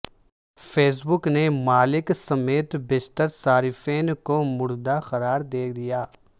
face بک نے مالک سمیت بیشتر صارفین کو مردہ قرار دے دیا